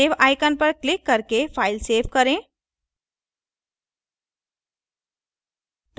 save icon पर click करके file save करें